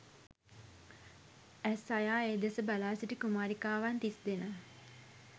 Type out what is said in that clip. ඇස් අයා ඒ දෙස බලාසිටි කුමාරිකාවන් තිස්දෙනා